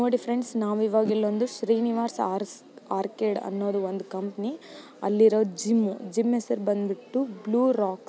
ನೋಡಿ ಫ್ರೆಂಡ್ ನಾವು ಈವಾಗ ಇಲ್ಲೊಂದು ಶ್ರೀನಿವಾಸ ಆರ್ಕೇಡ್ ಅನ್ನೋದು ಒಂದು ಕಂಪನಿ ಅಲ್ಲಿರೋದು ಜಿಮ್ ಜಿಮ್ ಹೆಸ್ರ ಬಂದ ಬಿಟ್ಟು ಬ್ಲೂ ರೋಕ್.